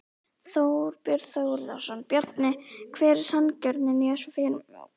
Þorbjörn Þórðarson: Bjarni hver er sanngirnin í þessu fyrirkomulagi?